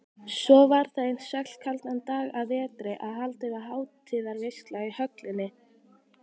Svo var það einn svellkaldan dag að vetri að haldin var hátíðarveisla í höllinni.